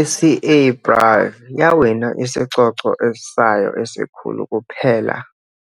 I-CA Brive yawina isicoco sayo esikhulu kuphela